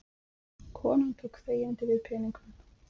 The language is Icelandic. Konan tók þegjandi við peningunum.